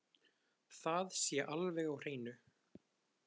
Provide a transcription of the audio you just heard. Það sé alveg á hreinu